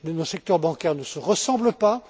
Nos secteurs bancaires ne se ressemblent